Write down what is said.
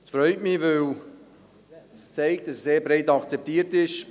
Es freut mich, weil es zeigt, dass dies sehr breit akzeptiert ist.